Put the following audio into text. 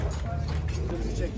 Götürdü, çəkdi.